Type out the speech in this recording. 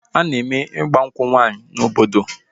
A na-eme ịgba nkwụ nwaanyị n'obodo